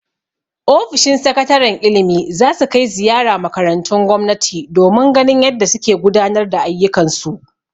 Ofishin sakataren ilimi za su kai ziyara makarantun gomnati domin ganin yadda suke gudanar da ayyukan su.